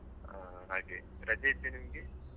ಹಾ ಹಾಗೆ ರಜೆ ಇತ್ತ ನಿಮ್ಗೆ.